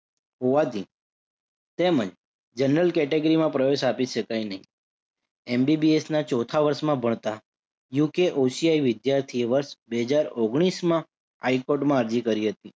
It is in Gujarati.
હોવાથી તેમજ general category માં પ્રવેશ આપી શકાય નહિ. MBBS ના ચોથા વર્ષમાં ભણતા UKOCI વિદ્યાર્થીએ વર્ષ બે હજાર ઓગણીશમા હાઈ કોર્ટમાં અરજી કરી હતી.